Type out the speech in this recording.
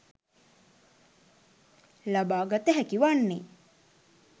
ලබා ගත හැකි වන්නේ